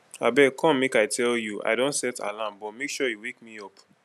abeg come make i tell you i don set alarm but make sure you wake me up